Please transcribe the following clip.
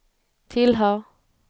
tillhör